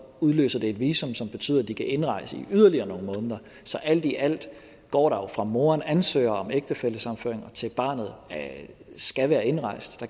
udløser det et visum som betyder at de kan indrejse i yderligere nogle måneder så alt i alt går der jo fra moderen ansøger om ægtefællesammenføring til barnet skal være indrejst